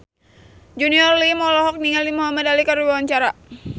Junior Liem olohok ningali Muhamad Ali keur diwawancara